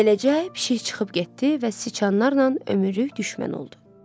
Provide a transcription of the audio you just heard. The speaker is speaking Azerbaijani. Beləcə pişik çıxıb getdi və siçanlarla ömürlük düşmən oldu.